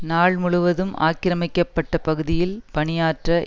நாள் முழுவதும் ஆக்கிரமிக்கப்பட்ட பகுதியில் பணி ஆற்ற